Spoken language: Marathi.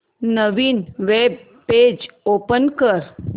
नवीन वेब पेज ओपन कर